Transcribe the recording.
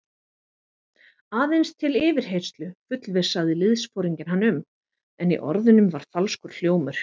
Aðeins til yfirheyrslu fullvissaði liðsforinginn hann um, en í orðunum var falskur hljómur.